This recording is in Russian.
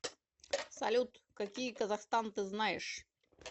салют какие казахстан ты знаешь